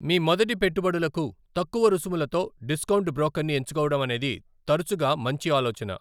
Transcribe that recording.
మీ మొదటి పెట్టుబడులకు, తక్కువ రుసుములతో డిస్కౌంట్ బ్రోకర్ని ఎంచుకోవడం అనేది తరచుగా మంచి ఆలోచన.